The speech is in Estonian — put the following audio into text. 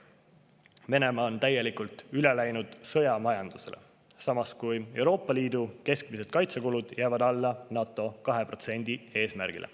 Venemaa on täielikult üle läinud sõjamajandusele, samas kui Euroopa Liidu keskmised kaitsekulud jäävad alla NATO 2% eesmärgile.